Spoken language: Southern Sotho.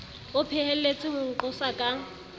o phehelletse ho nqosa ka